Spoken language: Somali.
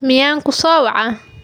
Miyaan ku soo wacay?